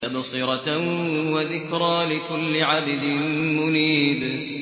تَبْصِرَةً وَذِكْرَىٰ لِكُلِّ عَبْدٍ مُّنِيبٍ